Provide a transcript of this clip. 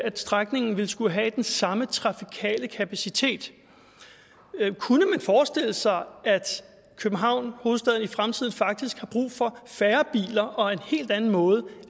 at strækningen vil skulle have den samme trafikale kapacitet kunne man forestille sig at københavn hovedstaden i fremtiden faktisk har brug for færre biler og en helt anden måde